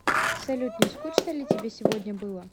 салют не скучно ли тебе сегодня было